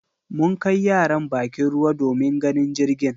Mun kai yaran bakin ruwa domin ganin jirgin.